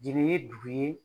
Jeli ye dugu ye.